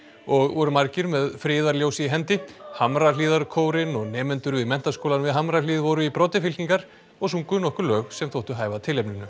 og voru margir með í hendi Hamrahlíðarkórinn og nemendur við Menntaskólann við Hamrahlíð voru í broddi fylkingar og sungu nokkur lög sem þóttu hæfa tilefninu